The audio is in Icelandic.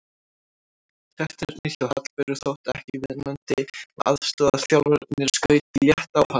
Taktarnir hjá Hallberu þóttu ekki viðunandi og aðstoðarþjálfarinn skaut létt á hana.